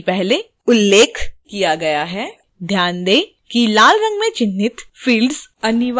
जैसा कि पहले उल्लेख किया गया है ध्यान दें कि लाल रंग में चिह्नित fields अनिवार्य हैं